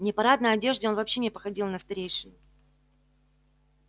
в непарадной одежде он вообще не походил на старейшину